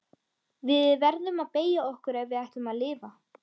Við verðum að beygja okkur ef við ætlum að lifa.